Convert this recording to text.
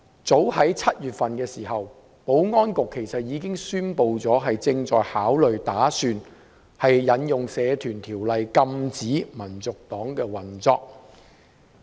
早於7月，保安局其實已經宣布，正在考慮引用《社團條例》禁止香港民族黨運作。